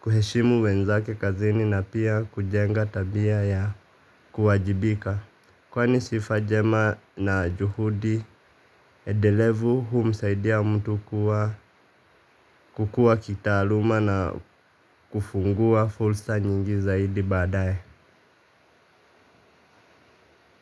kuheshimu wenzake kazini na pia kujenga tabia ya kuwajibika kwani sifa jema na juhudi edelevu huumsaidia mtu kukua kitaaluma na kufungua fulsa nyingi zaidi badae.